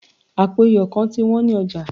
apo iyo kan ti wan ni oja